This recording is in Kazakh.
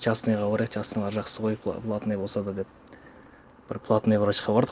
частныйға барайық частныйлар жақсы ғой платный болса да деп бір платный врачқа бардық